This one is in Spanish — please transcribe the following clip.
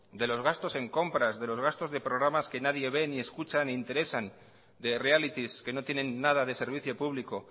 de los gastos de compras de los gastos de programas que nadie ve ni escucha ni interesan de realities que no tienen nada de servicio público